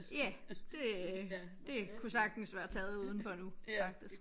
Ja det det kunne sagtens være taget udenfor nu faktisk